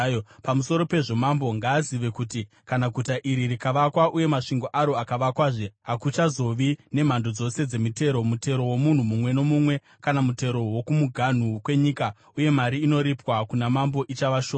Pamusoro pezvo, mambo ngaazive kuti kana guta iri rikavakwa uye masvingo aro akavakwazve, hakuchazova nemhando dzose dzemitero, mutero womunhu mumwe nomumwe, kana mutero wokumuganhu kwenyika, uye mari inoripwa kuna mambo ichava shoma.